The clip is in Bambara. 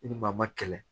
I ni maa ma kɛlɛ